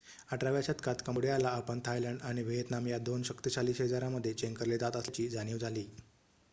१८व्या शतकात कंबोडियाला आपण थायलंड आणि व्हिएतनाम या दोन शक्तिशाली शेजाऱ्यांमध्ये चेंगरले जात असल्याची जाणीव झाली